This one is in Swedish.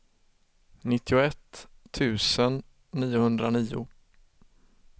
nittioett tusen niohundranio